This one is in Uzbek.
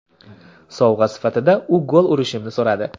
Sovg‘a sifatida u gol urishimni so‘radi.